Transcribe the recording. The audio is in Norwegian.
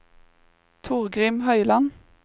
Torgrim Høiland